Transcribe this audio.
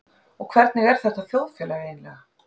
Og hvernig er þetta þjóðfélag eiginlega?